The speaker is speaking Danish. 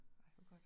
Ej hvor godt